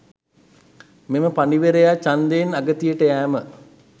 මෙම පඬිවරයා ඡන්දයෙන් අගතියට යෑම